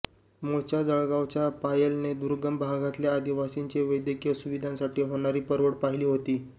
मूळच्या जळगावच्या पायलनं दुर्गम भागातल्या आदिवासींची वैद्यकीय सुविधांसाठी होणारी परवड पाहिली होती